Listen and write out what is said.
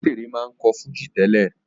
Òbésèré máa ń kọ́ fújì tẹ́lẹ̀